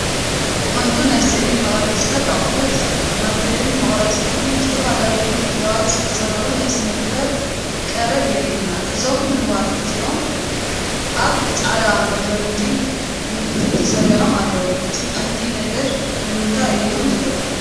ብቐንዱ ናይ ስእሊ መቕረፂታት ኣቑሑት፡ ማርከርን መቑረጺን ብዝተፈላለየ ምድላዋት ዝተሰርዑ ናይ ስነ-ጥበብ ቀረብ የርኢ። እዞም ንዋት እዚኣቶም ኣብ ጻዕዳ መደርደሪ ብመልክዕ ተሰሪዖም ኣለዉ። እቲ ቀንዲ ነገር ንምታይ እዮም ዘገልግሎ?